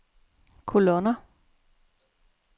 kolonner